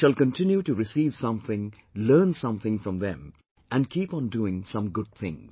We shall continue to receive something, learn something from them and keep on doing some good things